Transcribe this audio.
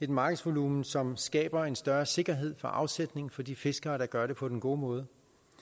markedsvolumen som skaber en større sikkerhed for afsætning for de fiskere der gør det på den gode måde